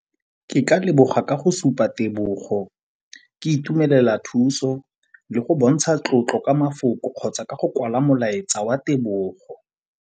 Ke ka leboga ka go supa tebego, ke itumelela thuso le go bontsha tlotlo ka mafoko kgotsa ka go kwala molaetsa wa tebogo.